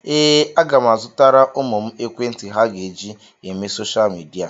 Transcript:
Ee, aga m azụtara ụmụ m ekwentị ha ga-eji eme soshal midia.